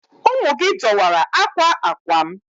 Ụmụ gị dọwara akwa akwa m.